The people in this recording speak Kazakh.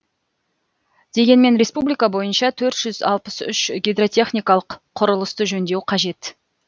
дегенмен республика бойынша төрт жүз алпыс үш гидротехникалық құрылысты жөндеу қажет